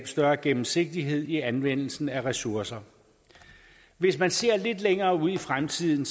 større gennemsigtighed i anvendelsen af ressourcer hvis man ser lidt længere ud i fremtiden